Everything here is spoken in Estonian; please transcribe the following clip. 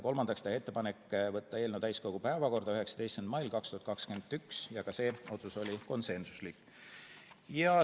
Kolmandaks otsustati teha ettepanek võtta eelnõu täiskogu päevakorda 19. mail 2021 ja ka see otsus oli konsensuslik.